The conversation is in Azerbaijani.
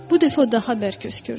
Bu dəfə o daha bərk öskürdü.